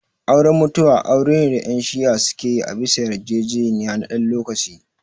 Auren mutu'a aure ne da yan shi'ah suke yi a bisa yar jejeniya na dan lokacin